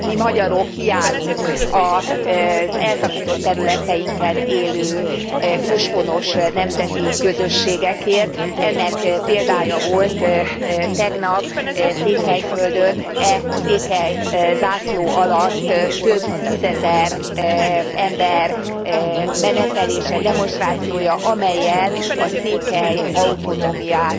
Mi magyarok kiállunk az elszakított területeinken élő őshonos nemzeti közösségekért, ennek példája volt tegnap Székelyföldön, székely zászló alatt több tízezer ember menetelése, demonstrációja, amellyel a székely autonómiát